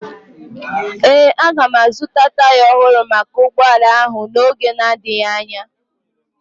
Ee, aga m azụta taya ọhụrụ maka ụgbọala ahụ n'oge na-adịghị anya